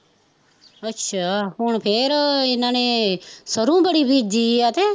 ਅੱਛਾ ਹੁਣ ਫੇਰ ਇਹਨਾਂ ਨੇ, ਸਰੋਂ ਬੜੀ ਬੀਜੀ ਐ ਤੇ